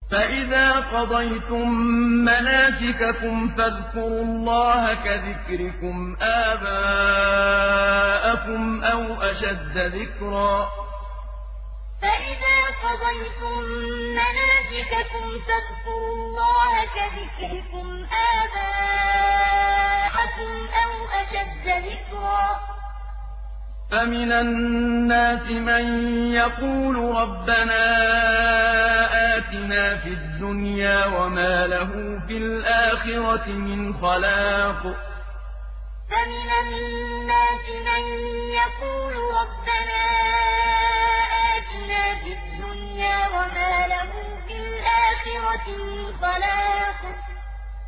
فَإِذَا قَضَيْتُم مَّنَاسِكَكُمْ فَاذْكُرُوا اللَّهَ كَذِكْرِكُمْ آبَاءَكُمْ أَوْ أَشَدَّ ذِكْرًا ۗ فَمِنَ النَّاسِ مَن يَقُولُ رَبَّنَا آتِنَا فِي الدُّنْيَا وَمَا لَهُ فِي الْآخِرَةِ مِنْ خَلَاقٍ فَإِذَا قَضَيْتُم مَّنَاسِكَكُمْ فَاذْكُرُوا اللَّهَ كَذِكْرِكُمْ آبَاءَكُمْ أَوْ أَشَدَّ ذِكْرًا ۗ فَمِنَ النَّاسِ مَن يَقُولُ رَبَّنَا آتِنَا فِي الدُّنْيَا وَمَا لَهُ فِي الْآخِرَةِ مِنْ خَلَاقٍ